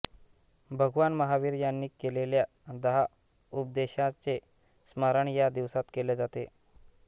भगवान महावीर यांनी केलेल्या दहा उपदेशाचे स्मरण या दिवसात केले जाते